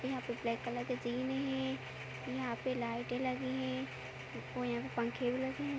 यहाँ पे black colour के जीने हैं यहाँ पे लाइटें लगीं हैं देखो यहाँ पे पंखे भी लगे है।